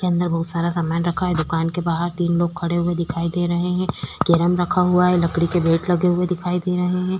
इसके अंदर बहुत सारा सामान रखा है दुकान के बाहर तीन लोग खड़े हुए दिखाई दे रहे हैं कैरम रखा हुआ है लकड़ी के बैट रखे हुए दिखाई दे रहे हैं।